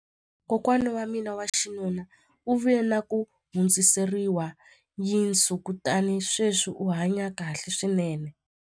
Kokwana wa mina wa xinuna u vile na ku hundziseriwa yinsu kutani sweswi u hanye kahle swinene.